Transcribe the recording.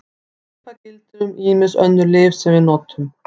Svipað gildir um ýmis önnur lyf sem við notum.